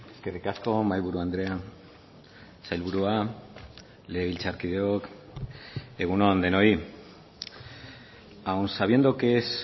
eskerrik asko mahaiburu andrea sailburua legebiltzarkideok egunon denoi aun sabiendo que es